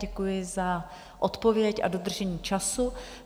Děkuji za odpověď a dodržení času.